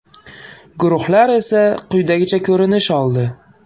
Guruhlar esa quyidagicha ko‘rinish oldi.